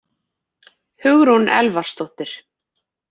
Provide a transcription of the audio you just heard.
Hugrún Elvarsdóttir